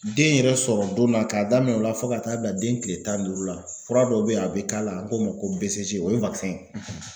Den yɛrɛ sɔrɔ donna k'a daminɛ o la fo ka taa bila den kile tan ni duuru la fura dɔw bɛ ye o bɛ k'a la an k'o ma ko BCG o ye ye.